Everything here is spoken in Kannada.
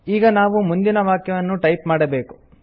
ಈಗ ನಾವು ಮುಂದಿನ ವಾಕ್ಯವನ್ನು ಟೈಪ್ ಮಾಡಬೇಕು